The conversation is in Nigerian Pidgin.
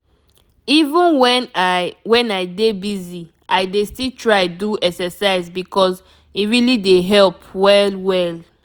even when i when i dey busy i dey still try do exercise because e really dey help well well.